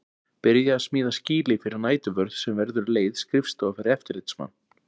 Byrjað að smíða skýli fyrir næturvörð sem verður um leið skrifstofa fyrir eftirlitsmann.